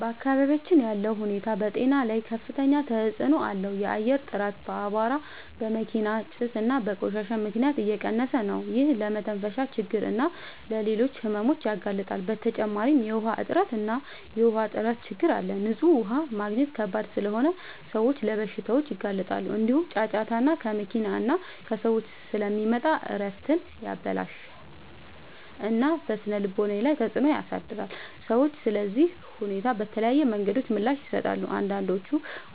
በአካባቢያችን ያለው ሁኔታ በጤና ላይ ከፍተኛ ተጽዕኖ አለው። የአየር ጥራት በአቧራ፣ በመኪና ጭስ እና በቆሻሻ ምክንያት እየቀነሰ ነው፤ ይህም ለመተንፈሻ ችግኝ እና ለሌሎች ሕመሞች ያጋልጣል። በተጨማሪ የውሃ እጥረት እና የውሃ ጥራት ችግኝ አለ፤ ንጹህ ውሃ ማግኘት ከባድ ስለሆነ ሰዎች ለበሽታዎች ይጋለጣሉ። እንዲሁም ጫጫታ ከመኪና እና ከሰዎች ስለሚመጣ እረፍትን ያበላሽታል እና በስነ-ልቦና ላይ ተጽዕኖ ያሳድራል። ሰዎች ለዚህ ሁኔታ በተለያዩ መንገዶች ምላሽ ይሰጣሉ። አንዳንዶች